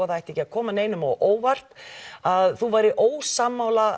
það þyrfti ekki að koma neinum á óvart að þú værir ósammála